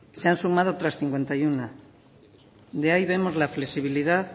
se han sumado otras cincuenta y uno de ahí vemos la flexibilidad